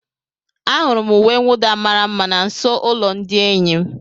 Ahụrụ m uwe mwụda mara mma na nso ụlọ ndị enyi m.